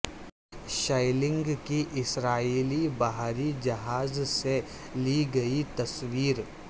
shelling کی اسرائیلی بحری جہاز سے لی گئی تصویر